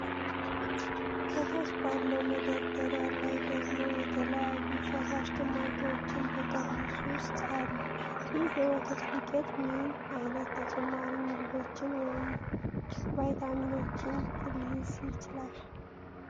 ከታች ባለው መደርደሪያ ላይ ደግሞ የተለያዩ ፈሳሽ ጭማቂዎች በጠርሙስ ውስጥ አሉ። ይህ የወተት ዱቄት ምን አይነት ተጨማሪ ምግቦችን (ቫይታሚኖች) ሊይዝ ይችላል?